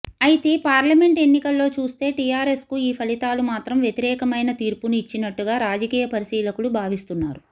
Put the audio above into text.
అయితే పార్లమెంట్ ఎన్నికల్లో చూస్తే టీఆర్ఎస్కు ఈ ఫలితాలు మాత్రం వ్యతిరేకమైన తీర్పును ఇచ్చినట్టుగా రాజకీయ పరిశీలకులు భావిస్తున్నారు